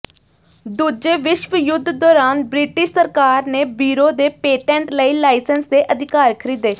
ਦੂਜੇ ਵਿਸ਼ਵ ਯੁੱਧ ਦੌਰਾਨ ਬ੍ਰਿਟਿਸ਼ ਸਰਕਾਰ ਨੇ ਬੀਰੋ ਦੇ ਪੇਟੈਂਟ ਲਈ ਲਾਇਸੈਂਸ ਦੇ ਅਧਿਕਾਰ ਖਰੀਦੇ